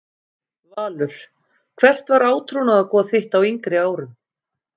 Valur Hvert var átrúnaðargoð þitt á yngri árum?